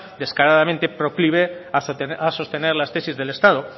descaradamente proclive a sostener las tesis del estado